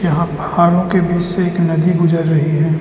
यहां पहाड़ों के बीच से एक नदी गुजर रही है।